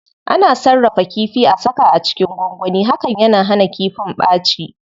Ana sarrafa kifi,a saka a cikin gwangwani, hakan yana hana kifin ɓaci.